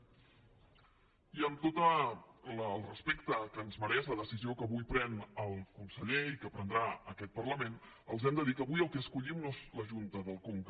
i amb tot el respecte que ens me·reix la decisió que avui pren el conseller i que pren·drà aquest parlament els hem de dir que avui el que escollim no és la junta del conca